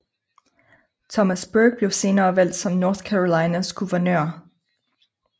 Thomas Burke blev senere valgt som North Carolinas guvernør